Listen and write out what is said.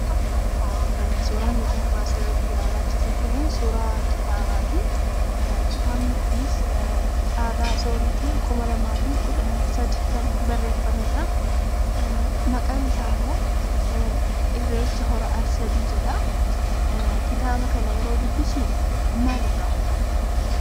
Suuraan nuti asirratti ilaalaa jirru Kunii, suuraa kitaabaati. Kitaabni kunis Caalaa sooriitiin kuma lamaa fi kudha sadii kan barreeffamedhaa. Maqaan isaa immoo irreecha hora ar-sadii jedhaa. Kitaaba kana yeroo dubbisnu maal irraa hubanna?